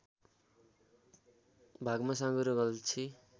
भागमा साँगुरो गल्छी